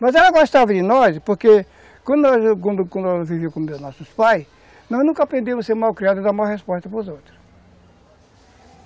Mas ela gostava de nós, porque quando quando quando ela vivia com os nossos pais, nós nunca aprendemos a ser mal criados e dar mal resposta para os outros.